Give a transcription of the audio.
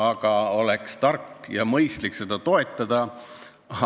Ometi oleks tark ja mõistlik seda toetada.